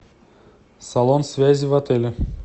салон связи в отеле